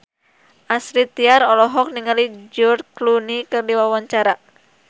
Astrid Tiar olohok ningali George Clooney keur diwawancara